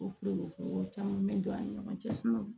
O fɛn wɛrɛw caman bɛ don an ni ɲɔgɔn cɛ